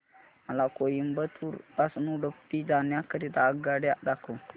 मला कोइंबतूर पासून उडुपी जाण्या करीता आगगाड्या दाखवा